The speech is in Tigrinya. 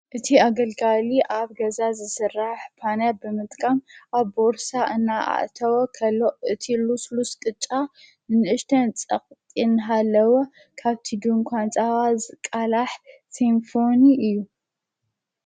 እቲ ኣገልጋሊ ኣብ ገዛ ዝሥራሕ ጳነያ ብምጥቃም ኣብ ቦርሳ እና ኣእተወ ኸሎኦ እቲ ሉስሉስ ቅጫ ንእሽተን ጸቕጢን ሃለወ ካብቲዱን ኳንፃዋ ዝቃላሕ ሲምፋን እዩ።